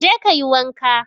Je ka yi wanka!